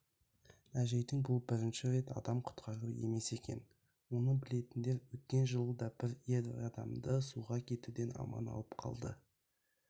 әжейдің бұл бірінші рет адам құтқаруы емес екен оны білетіндер өткен жылы да бір ер адамды суға кетуден аман алып қалды